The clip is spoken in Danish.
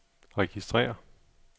registrér